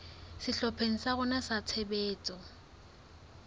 sehlopheng sa rona sa tshebetso